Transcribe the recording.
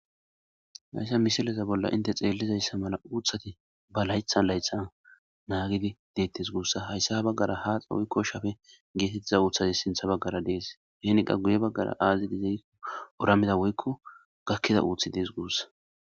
Haysa misileza bolla hinte xelizaysa mala uuthati ba laytha laytha nagid detes guusa , haysa ha bagara haaxa woyko shape getetiza uuthazi sintha bagara de'es, hen qas guye bagara azi dize gikon oramida woyko gakida uuthi Des guusa.